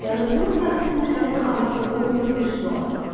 Yaradıcılıq prosesində sənə aidiyyatı olmayan bir sualdır.